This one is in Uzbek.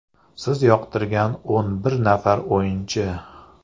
Siz yoqtirgan o‘n bir nafar o‘yinchi?